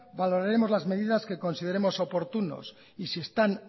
valoraremos las medidas que consideremos oportunos y si están